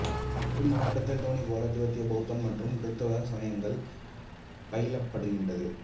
இம்மாவட்டத்தில் தோனி போலா திபெத்திய பௌத்தம் மற்றும் கிறித்தவ சமயங்கள் பயிலப்படுகிறது